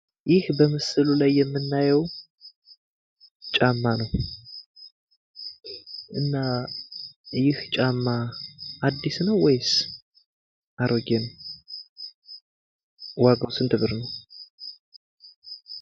ይህ በምስሉ ላይ የምናየው ጫማ ነው። እና ይህ ጫማ አዲስ ነው ወይስ አሮጌ ነው? ዋጋው ስንት ብር ነው?